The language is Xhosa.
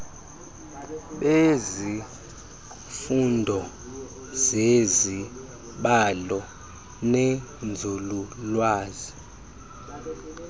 bezifundo zezibalo nenzululwazi